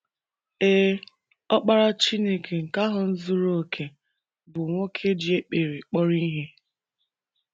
Ee, Ọkpara Chineke nke ahụ zuru okè bụ nwoke ji ekpere kpọrọ ihe.